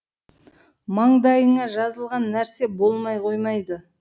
маңдайыңа жазылған нәрсе болмай қоймайды